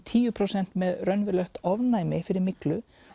tíu prósent með raunverulegt ofnæmi fyrir myglu